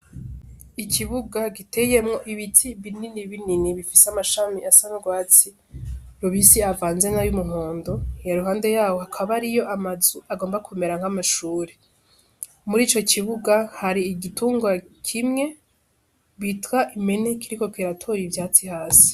Ikibuga giteyemwo ibiti binini binini bifise amashami asa n'urwatsi rubisi avanze n'ayumuhondo, iruhande yaho hakaba hariyo amazu agomba kumera nk'amashuri, mur'ico kibuga hari igitungwa kimwe bitwa impene kiriko kiratora ivyatsi hasi.